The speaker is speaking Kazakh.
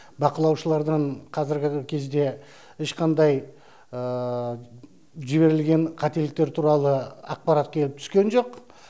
бақылаушылардан қазіргі кезде ешқандай жіберілген қателіктер туралы ақпарат келіп түскен жоқ